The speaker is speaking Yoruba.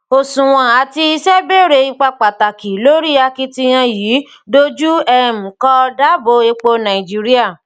òṣùwòn àti iṣẹ bèrè ipá pàtàkì lórí akitiyan yìí dojú um kọ dáàbò epo nàìjíríà